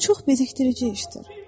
Bu çox bezikdirici işdir.